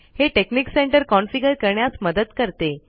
हे technic centre configure करण्यास मदत करते